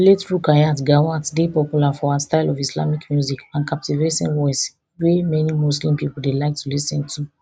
late rukayat gawat dey popular for her style of islamic music and captivating voice wey many muslim pipo dey like to lis ten to